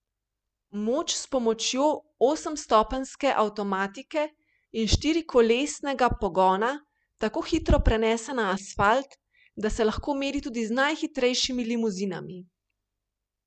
Moč s pomočjo osemstopenjske avtomatike in štirikolesnega pogona tako hitro prenese na asfalt, da se lahko meri tudi z najhitrejšimi limuzinami.